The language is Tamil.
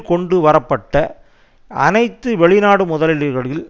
கொண்டு வரப்பட்ட அனைத்து வெளிநாடு முதலீடுகளில்